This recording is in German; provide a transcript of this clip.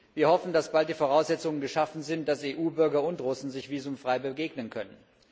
Wir hoffen, dass bald die Voraussetzungen geschaffen sind, dass EU Bürger und Russen sich visumfrei begegnen können.